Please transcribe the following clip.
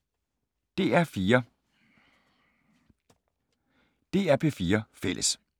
DR P4 Fælles